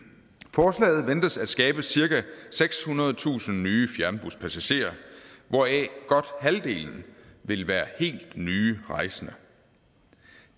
forslaget ventes at skabe cirka sekshundredetusind nye fjernbuspassagerer hvoraf godt halvdelen vil være helt nye rejsende